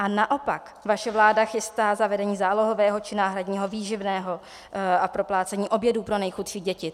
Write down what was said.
A naopak, vaše vláda chystá zavedení zálohového či náhradního výživného a proplácení obědů pro nejchudší děti.